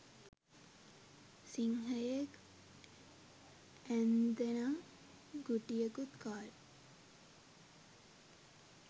සිංහයෙක් ඇන්දැනං ගුටියකුත් කාල.